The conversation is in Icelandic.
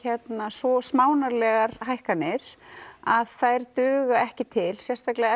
svo smánarlegar hækkanir að þær duga ekki til sérstaklega